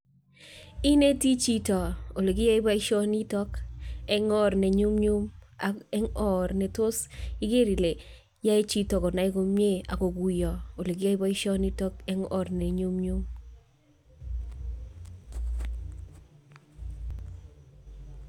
Ineti chito ole kiyae boisionito eng oor nenyumnyum ak eng oor netos igeer ile yae chito konai komnye ako kuyo ole kiyae boisionito eng oor ne nyumnyum.